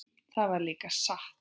Það var líka satt.